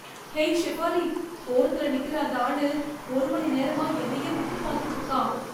ஹே ஷெஃபாலி! ஓரத்துல நிக்கிற அந்த ஆளு, ஒரு மணி நேரமா என்னையே உத்து பார்த்துட்டு இருக்கான்.